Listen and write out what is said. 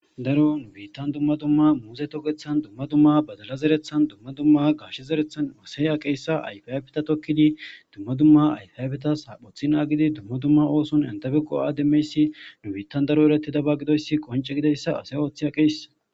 daro nu biittan dumma dumma muuse tokethan dumma dumma badala zerethan dumma dumma gashe zerethan maseya qeessa ayfiafta tokkidi dumma dumma ayfyayfita shaaphothi naagidi dumma dumma ooson entebeqo7ademmeyssi nu biittan daro eretida ba gidoyssi qonce gideyssa asa ooththi aqeyssa